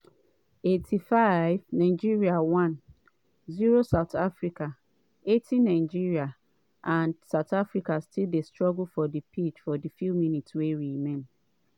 85' nigeria 1-0 south africa 80' nigeria and south africa still dey struggle for pitch for di few minutes wey remain.